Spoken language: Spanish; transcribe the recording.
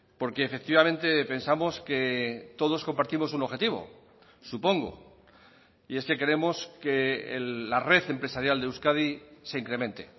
porque efectivamente pensamos que todos compartimos un objetivo supongo y es que queremos que la red empresarial de euskadi se incremente